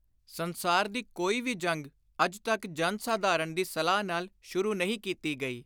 ਸੰਸਾਰ ਦੀ ਕੋਈ ਵੀ ਜੰਗ ਅੱਜ ਤਕ ਜਨ-ਸਾਧਾਰਣ ਦੀ ਸਲਾਹ ਨਾਲ ਸ਼ੁਰੂ ਨਹੀਂ ਕੀਤੀ ਗਈ।